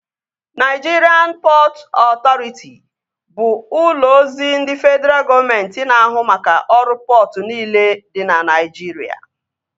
Naịjirịan Pọtụ Ọtọriti bụ ụlọ ozi ndị fedraa gọọmenti na ahụ maka ọrụ pọtụ niile dị na Naịjirịa